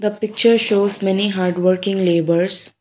the picture shows many hardworking labours.